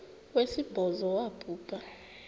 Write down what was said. wesibhozo wabhu bha